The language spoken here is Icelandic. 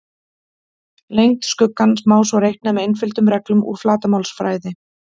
Lengd skuggans má svo reikna með einföldum reglum úr flatarmálsfræði.